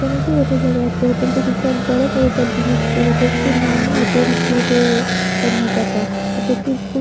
এখানে একটি হোটেল দেখা যাচ্ছে। হোটেল -টি বিশাল বড় বহুতল বিশিষ্ট হোটেল -টির নামও হোটেল গেটওয়ে কর্ণাটকা হোটেল -টি খুব--